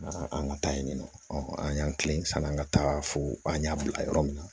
An ka taa yen nɔ an y'an kilen ka an ka taa fo an y'a bila yɔrɔ min na